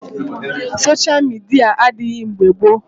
sosha midia adịghị mgbe gboo